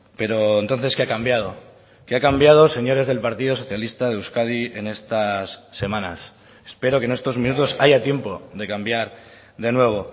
pero entonces qué ha cambiado qué ha cambiado señores del partido socialista de euskadi en estas semanas espero que en estos minutos haya tiempo de cambiar de nuevo